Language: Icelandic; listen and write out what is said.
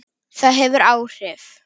Það hefur áhrif.